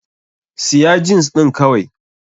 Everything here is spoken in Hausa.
Siya jins ɗin kawai!